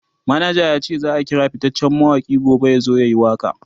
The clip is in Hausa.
manaja yace zaa kira fittacen mawaki gobe yazo yayi waka